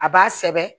A b'a sɛbɛn